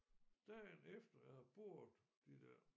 Dagen efter jeg havde boret de der